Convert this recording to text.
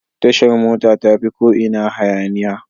Tashar mota tafi ko ina hayaniya.